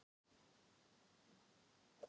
Það hefði nú verið eitthvað handa honum